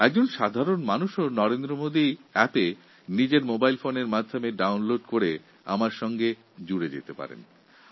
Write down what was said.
একজন সাধারণ লোক নিজের মোবাইল ফোনে নরেন্দ্র মোদী অ্যাপ ডাউনলোড করে আমার সঙ্গে যোগাযোগ করতে পারেন